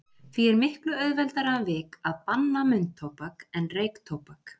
Því er miklu auðveldara um vik að banna munntóbak en reyktóbak.